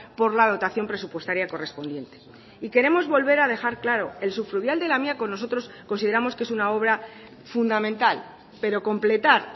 por la dotación presupuestaria correspondiente y queremos volver a dejar claro el subfluvial de lamiako nosotros consideramos que es una obra fundamental pero completar